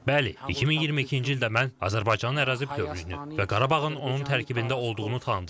Bəli, 2022-ci ildə mən Azərbaycanın ərazi bütövlüyünü və Qarabağın onun tərkibində olduğunu tanıdım.